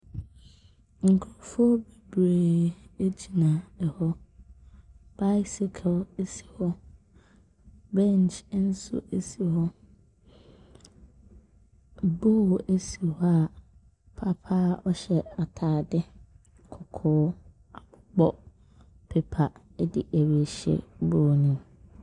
Nkurɔfoɔ bebree gyina hɔ. Bicycle si hɔ. Bench nso si hɔ. Bowl si hɔ a papa a ɔhyɛ atadeɛ kɔkɔɔ abobɔ paper de rehyɛ bowl no mu.